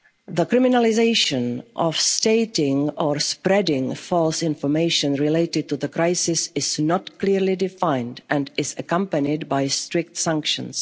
limit. The criminalisation of stating or spreading false information related to the crisis is not clearly defined and is accompanied by strict